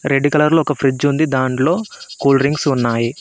Red colour లో ఒక fridge ఉంది దాంట్లో కూల్డ్రింక్స్ ఉన్నాయి.